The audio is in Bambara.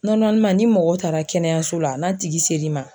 ni mɔgɔw taara kɛnɛyaso la n'a tigi ser'i ma.